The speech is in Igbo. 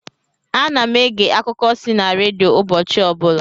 Ana m ege akuko si na redio ụbọchị ọbụla